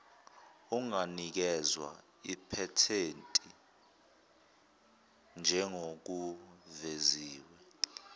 unganikezwa iphethenti njengokuveziwe